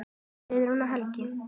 Guðrún og Helgi.